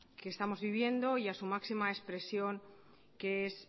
que estamos vivienda y a su máxima expresión que es